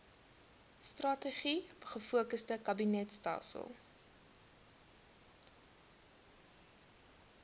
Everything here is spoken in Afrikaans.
strategies gefokusde kabinetstelsel